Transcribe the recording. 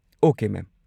Okay, ꯃꯦꯝ꯫